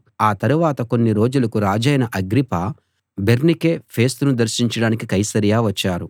ఆ తరవాత కొన్ని రోజులకు రాజైన అగ్రిప్ప బెర్నీకే ఫేస్తును దర్శించడానికి కైసరయ వచ్చారు